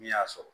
Min y'a sɔrɔ